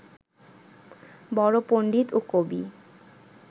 বড় পণ্ডিত ও কবি